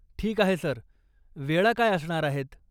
ठीक आहे सर, वेळा काय असणार आहेत ?